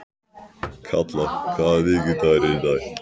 Kalla, hvaða vikudagur er í dag?